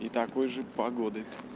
и такой же погоды